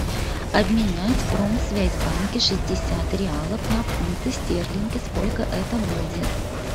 обменять в промсвязьбанке шестьдесят реалов на фунты стерлинги сколько это будет